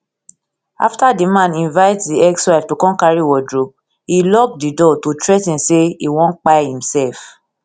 afta di man invite di ex wife to come carry wardrobe e lock di door to threa ten say e wan kpai imsef